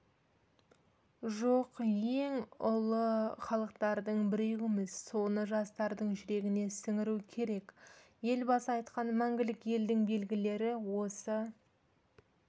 жоқ ең ұлы халықтардың біреуіміз соны жастардың жүрегіне сіңіру керек елбасы айтқан мәңгілік елдің белгілері осы